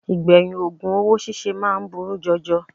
Ìgbẹ̀yìn ògùn owó síse máa ń burú jọjọ